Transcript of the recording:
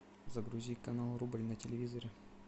загрузи канал рубль на телевизоре